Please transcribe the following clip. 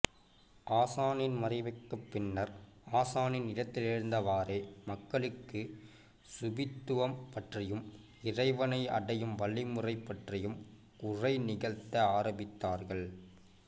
ஆசானின் மறைவுக்குப் பின்னர் ஆசானின் இடத்திலிருந்தவாறே மக்களுக்கு சூபித்துவம் பற்றியும் இறைவனை அடையும் வழிமுறை பற்றியும் உரை நிகழ்த்த ஆரம்பித்தார்கள்